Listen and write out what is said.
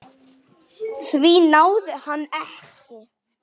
Því náði hann ekki.